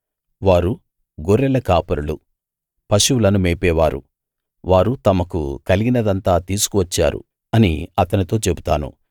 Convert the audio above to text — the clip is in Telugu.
వారు గొర్రెల కాపరులు పశువులను మేపేవారు వారు తమకు కలిగినదంతా తీసుకు వచ్చారు అని అతనితో చెబుతాను